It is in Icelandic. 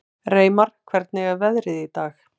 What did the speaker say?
Reimar, hvernig er veðrið í dag?